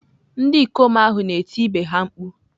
Ndị ikom ahụ na-eti ibe ha mkpu.